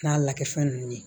N'a lakɛfɛn ninnu ye